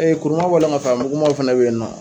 kuruman ka fara mugunmanw fana be yen nɔ